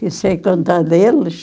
Não sei contar deles.